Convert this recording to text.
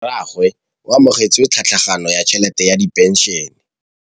Rragwe o amogetse tlhatlhaganyô ya tšhelête ya phenšene.